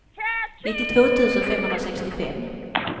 nittiotvå tusen femhundrasextiofem